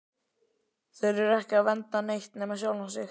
Þeir eru ekki að vernda neitt nema sjálfa sig!